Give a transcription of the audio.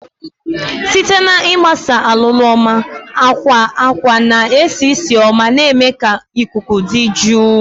Site na ịgbasa alụlụ oma, akwa akwa na-esi ísì oma, na-eme ka ikuku dị jụụ.